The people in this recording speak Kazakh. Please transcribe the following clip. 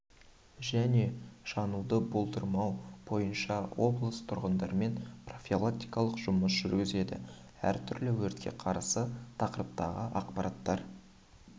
және жануды болдырмау бойынша облыс тұрғындарымен профилактикалық жұмыстар жүргізеді әр түрлі өртке қарсы тақырыптағы ақпараттар